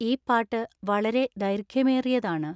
ഈ പാട്ട് വളരെ ദൈർഘ്യമേറിയതാണ്